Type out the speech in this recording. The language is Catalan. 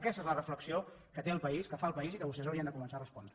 aquesta és la reflexió que té el país que fa el país i que vostès haurien de començar a respondre